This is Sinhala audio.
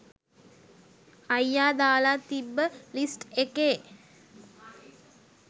අයියා දාලා තිබ්බ ලිස්ට් එකේ